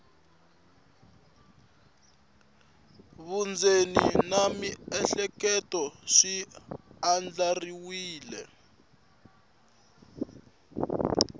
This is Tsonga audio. vundzeni na miehleketo swi andlariwile